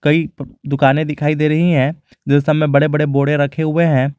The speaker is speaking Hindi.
कई दुकाने दिखाई दे रही है जिन सब में बड़े बड़े बोडे रखे हुए हैं।